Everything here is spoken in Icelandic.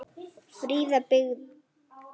Fríða byggð.